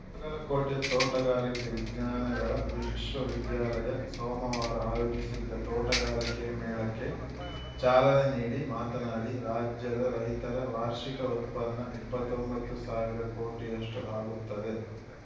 ಗಲಕೋಟೆ ತೋಟಗಾರಿಕೆ ವಿಜ್ಞಾನಗಳ ವಿಶ್ವ ವಿದ್ಯಾಲಯ ಸೋಮವಾರ ಆಯೋಜಿಸಿದ್ದ ತೋಟಗಾರಿಕೆ ಮೇಳಕ್ಕೆ ಚಾಲನೆ ನೀಡಿ ಮಾತನಾಡಿ ರಾಜ್ಯದ ರೈತರ ವಾರ್ಷಿಕ ಉತ್ಪನ್ನ ಇಪ್ಪತ್ತೊಂಬತ್ತು ಸಾವಿರ ಕೋಟಿಯಷ್ಟುಆಗುತ್ತದೆ